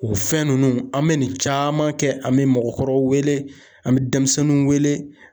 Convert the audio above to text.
O fɛn ninnu an bɛ nin caman kɛ, an bɛ mɔgɔkɔrɔw wele, an bɛ denmisɛnninw wele.